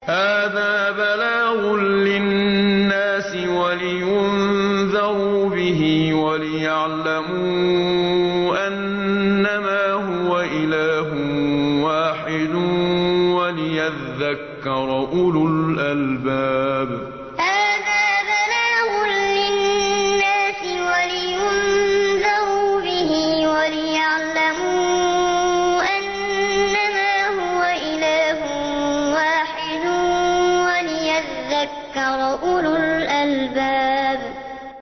هَٰذَا بَلَاغٌ لِّلنَّاسِ وَلِيُنذَرُوا بِهِ وَلِيَعْلَمُوا أَنَّمَا هُوَ إِلَٰهٌ وَاحِدٌ وَلِيَذَّكَّرَ أُولُو الْأَلْبَابِ هَٰذَا بَلَاغٌ لِّلنَّاسِ وَلِيُنذَرُوا بِهِ وَلِيَعْلَمُوا أَنَّمَا هُوَ إِلَٰهٌ وَاحِدٌ وَلِيَذَّكَّرَ أُولُو الْأَلْبَابِ